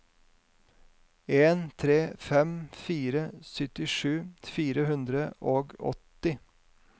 en tre fem fire syttisju fire hundre og åtti